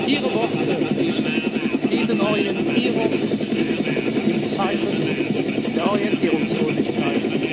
Ihre Worte bieten Orientierung in Zeiten der Orientierungslosigkeit.